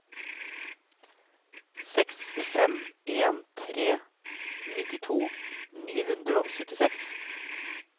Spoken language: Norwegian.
seks fem en tre nittito ni hundre og syttiseks